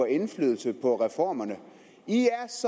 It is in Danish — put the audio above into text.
indflydelse på reformerne i